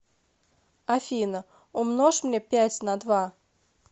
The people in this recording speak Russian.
афина умножь мне пять на два